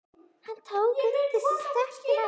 Hann tók undir sig stökk til hennar.